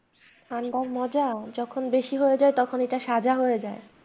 ঠান্ডার মজা যখন বেশি হয়ে যায় তখন এটা সাজা হয়ে যায়।